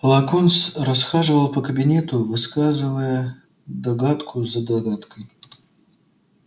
локонс расхаживал по кабинету высказывая догадку за догадкой